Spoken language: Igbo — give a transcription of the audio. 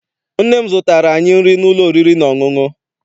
Nne m zụtara anyị nri n'ụlọ oriri na ọṅụṅụ.